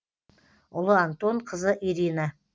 ұлы антон қызы ирина